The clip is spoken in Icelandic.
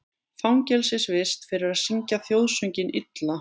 Fangelsisvist fyrir að syngja þjóðsönginn illa